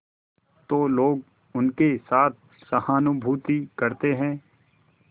तो लोग उनके साथ सहानुभूति करते हैं